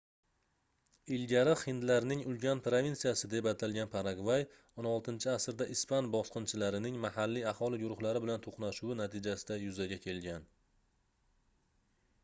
ilgari hindlarning ulkan provinsiyasi deb atalgan paragvay 16-asrda ispan bosqinchilarining mahalliy aholi guruhlari bilan toʻqnashuvi natijasida yuzaga kelgan